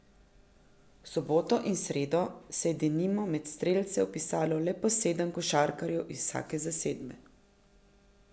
V soboto in sredo se je denimo med strelce vpisalo le po sedem košarkarjev iz vsake zasedbe.